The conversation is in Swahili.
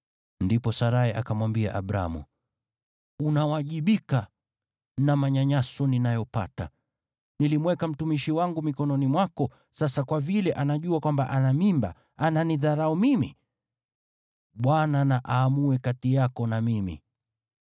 Ndipo Sarai akamwambia Abramu, “Unawajibika na manyanyaso ninayoyapata. Nilimweka mtumishi wangu mikononi mwako, sasa kwa vile anajua kwamba ana mimba, ananidharau mimi. Bwana na aamue kati yako na mimi.”